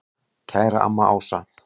Kæra amma Ása.